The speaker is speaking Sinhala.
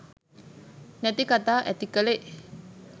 නැති කථා ඇති කලේ